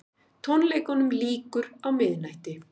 Tónleikunum lýkur á miðnætti